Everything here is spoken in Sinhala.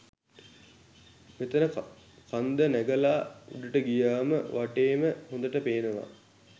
මෙතන කන්ද නැගල උඩට ගියාම වටේම හොඳට පේනවා.